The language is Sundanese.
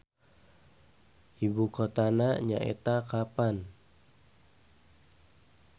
Ibu kotana nyaeta Kapan.